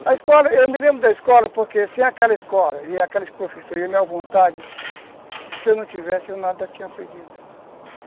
A escola, eu me lembro da escola porque sem aquela escola e aqueles professores e a minha vontade, se eu não tivesse eu nada tinha aprendido.